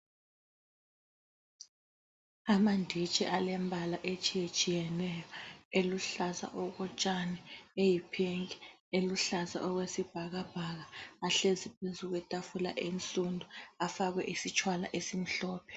Amanditshi alembala etshiyetshiyeneyo ,eluhlaza okotshani, eyi pink, eluhlaza okwesibhakabhaka ahlezi phezukwe tafula eyisundu ,afakwe isitshwala esimhlophe